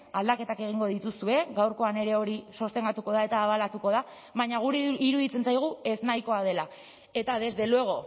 aldaketak egingo dituzue gaurkoan ere hori sostengatuko da eta abalatuko da baina guri iruditzen zaigu eznahikoa dela eta desde luego